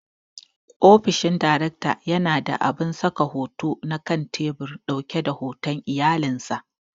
Ofishin daraktan yana da abun saka hoto na kan tebur ɗauke da hoton iyalan sa.